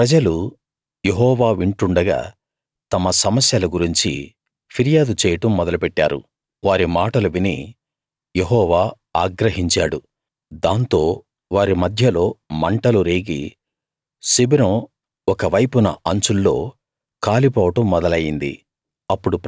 ప్రజలు యెహోవా వింటుండగా తమ సమస్యల గురించి ఫిర్యాదు చేయడం మొదలు పెట్టారు వారి మాటలు విని యెహోవా ఆగ్రహించాడు దాంతో వారి మధ్యలో మంటలు రేగి శిబిరం ఒక వైపున అంచుల్లో కాలిపోవడం మొదలయింది